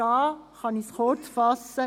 Dazu kann ich mich kurzfassen: